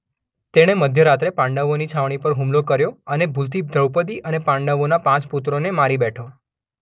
તેણે મધ્ય રાત્રે પાંડવોની છાવણી પર હુમલો કર્યો અને ભૂલથી દ્રૌપદી અને પાંડવોના પાંચ પુત્રોને મારી બેઠો.